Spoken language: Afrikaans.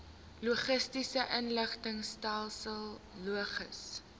logistiese inligtingstelsel logis